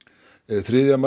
þriðja